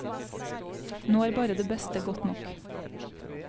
Nå er bare det beste godt nok.